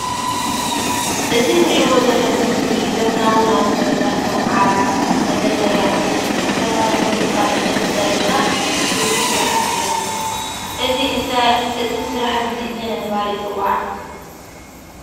እዚ ትርእዎ ዘለኹም ምስሊ ዘመናዊ ናውቲ ገዛ ከም ዓራት ፣መደርደሪ ኣቁሑ ዝተመሳሰሉ ካብ ዕንጨይት ፀሪብካ ዝስርሑ ስራሓቲ እዮም። እዚ ስራሓቲ እዚ እንታይ እንዳተባህለ ይፅዋዕ?